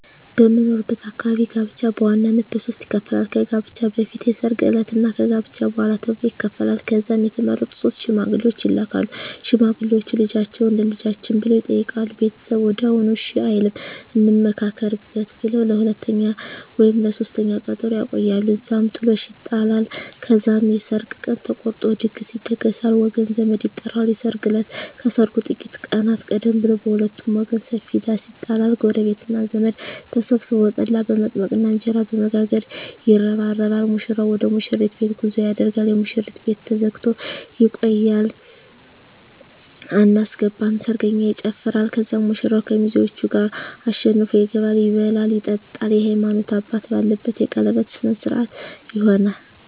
በምኖርበት አካባቢ ጋብቻ በዋናነት በሦስት ይከፈላል። ከጋብቻ በፊት፣ የሰርግ ዕለት እና ከጋብቻ በኋላ ተብሎ ይከፈላል። ከዛም የተመረጡ ሶስት ሽማግሌዎች ይላካሉ። ሽማግሌዎቹ "ልጃችሁን ለልጃችን" ብለው ይጠይቃሉ። ቤተሰብ ወዲያውኑ እሺ አይልም፤ "እንመካከርበት" ብለው ለሁለተኛ ወይም ለሦስተኛ ቀጠሮ ያቆያሉ። እዛም ጥሎሽ ይጣላል። ከዛም የሰርግ ቀን ተቆርጦ ድግስ ይደገሳል፣ ወገን ዘመድ ይጠራል። የሰርግ እለት ከሰርጉ ጥቂት ቀናት ቀደም ብሎ በሁለቱም ወገን ሰፊ ዳስ ይጣላል። ጎረቤትና ዘመድ ተሰብስቦ ጠላ በመጥመቅና እንጀራ በመጋገር ይረባረባል። ሙሽራው ወደ ሙሽሪት ቤት ጉዞ ያደርጋል። የሙሽሪት ቤት ተዘግቶ ይቆያል። አናስገባም ሰርገኛ ይጨፋራል። ከዛም ሙሽራው ከሚዜዎቹ ጋር አሸንፎ ይገባል። ይበላል ይጠጣል፣ የሀይማኖት አባት ባለበት የቀለበት ስነ ስሮአት ይሆናል